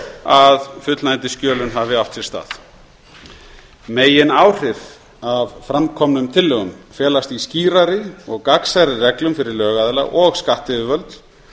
að fullnægjandi skjölun hafi átt sér stað megináhrif af fram komnum tillögum felast í skýrari og gagnsærri reglum fyrir lögaðila og skattyfirvöld